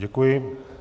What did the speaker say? Děkuji.